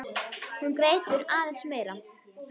Hún grætur aðeins meira.